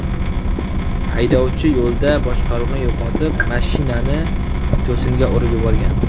Haydovchi yo‘lda boshqaruvni yo‘qotib, mashinani to‘singa urib yuborgan.